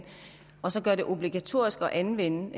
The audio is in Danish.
og så gøre det obligatorisk at anvende